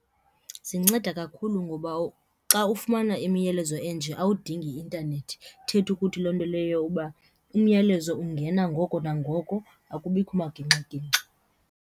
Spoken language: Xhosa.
Zinceda kakhulu ngoba xa ufumana imiyalezo enje awudingi intanethi, ithetha ukuthi loo nto leyo uba umyalezo ungena ngoko nangoko akubikho magingxigingxi.